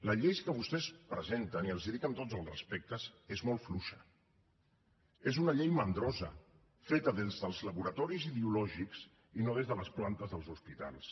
la llei que vostès presenten i els ho dic amb tots els respectes és molt fluixa és una llei mandrosa feta des dels laboratoris ideològics i no des de les plantes dels hospitals